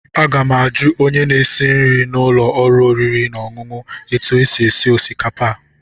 Aga m ajụ onye na-esi nri n'ụlọ oriri na ọṅụṅụ a etu o sie osikapa a.